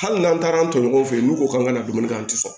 Hali n'an taara an to ɲɔgɔn fɛ yen n'u ko k'an ka na dumuni kɛ an tɛ sɔn